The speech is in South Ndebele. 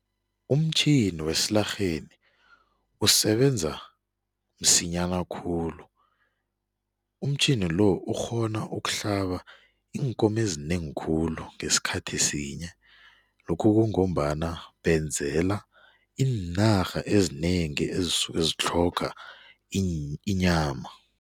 Umtjhini wesilarheni usebenza msinyana khulu, umtjhini-lo ukghona ukuhlaba iinkomezinengi khulu ngesikhathi sinye, lokhu kungombana benzela iinarha ezinengi ezisuke zitlhoga inyama.